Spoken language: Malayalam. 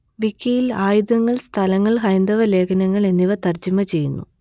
വിക്കിയിൽ ആയുധങ്ങൾ സ്ഥലങ്ങൾ ഹൈന്ദവ ലേഖനങ്ങൾ എന്നിവ തർജ്ജമ ചെയ്യുന്നു